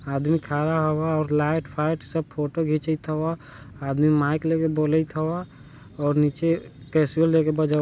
आदमी खड़ा हवा और लाइट फाइट सब फोटो खिचत हवा आदमी मायिक लेके बोलत हवा और निचे केसियुअल लेके बजबत --